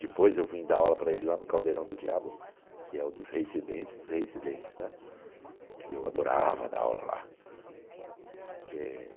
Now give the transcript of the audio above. Depois eu vim dar aula para ele lá no Caldeirão do Diabo, que é o dos reincidentes dos reincidentes, né, que eu adorava dar aula lá, que é